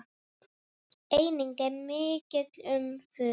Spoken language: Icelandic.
Einnig er mikið um furu.